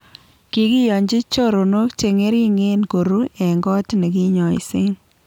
Kikiyonji choronok che ng'ering'en koro eng koot nekinyoise